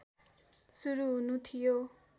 सुरू हुनु थियो